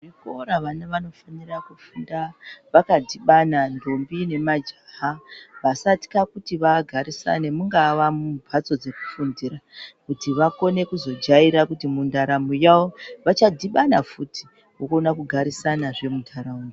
Muzvikora vana vanofanira kufunda vakadhibana ntombi nemajaha vasatya kuti vagarisane mungava mumbatso dzekufundira kuti vakone kuzojaira kuti mundaramo yavo vachadhibana futi vokona kugarisana zve muntaraunda.